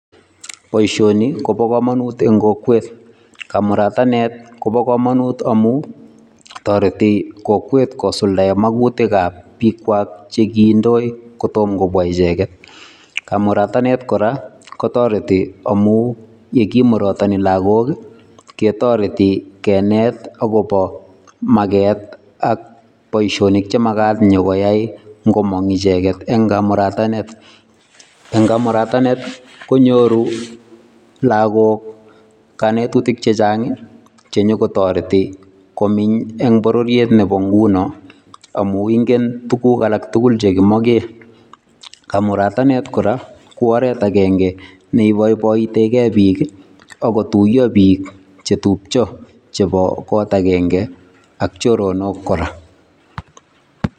Boisioni Kobo kamanut en kokwet kamurataneet koboo kamanuut amuun taretii kokwet kosuldaen maguyiik ab biik kwaak chekindoi kotomo kobwa ichegeet kamurataneet kora kotaretii amuun ye kimuratani lagook ketaretii keneet ii agobo mageet ak boisionik che magaat inyokoyai ingomaang ichegeet en kamurataneet, en kamurataneet koinyoruu lakwet ago kanetutiik chechaang ii che nyoruu kotaretii komeeny en bororiet nebo ngunoo amuu ingeen tuguuk alaak tugul chekimaken , kamurataneet kora ko oret agenge neibaibaitegei biik ako tuyaa biik che tupcha chebo koot agenge ak choronok kora.